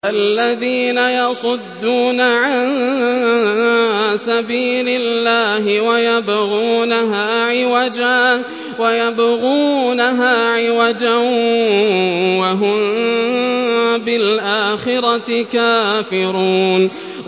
الَّذِينَ يَصُدُّونَ عَن سَبِيلِ اللَّهِ وَيَبْغُونَهَا عِوَجًا وَهُم بِالْآخِرَةِ كَافِرُونَ